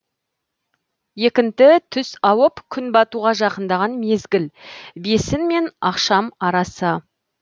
екінті түс ауып күн батуға жақындаған мезгіл бесін мен ақшам арасы